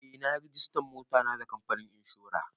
Eh na yi rajistan motata da kamfanin inshora.